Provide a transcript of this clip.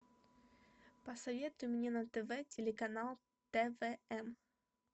посоветуй мне на тв телеканал твн